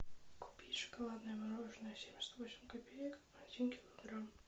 купить шоколадное мороженое семьдесят восемь копеек один килограмм